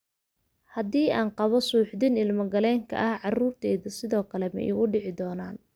Haddii aan qabo suuxdin ilmo-galeenka ah, carruurtayduna sidoo kale ma igu dhici doonaan?